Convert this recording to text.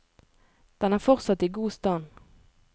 Den er fortsatt i god stand.